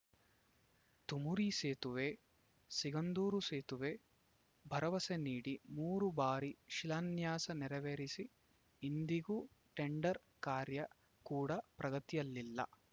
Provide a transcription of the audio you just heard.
ತುಮರಿ ಸೇತುವೆ ಸಿಗಂದೂರು ಸೇತುವೆ ಭರವಸೆ ನೀಡಿ ಮೂರು ಬಾರಿ ಶಿಲಾನ್ಯಾಸ ನೆರವೇರಿಸಿ ಇಂದಿಗೂ ಟೆಂಡರ್‌ ಕಾರ್ಯ ಕುಡ ಪ್ರಗತಿಯಲ್ಲಿಲ್ಲ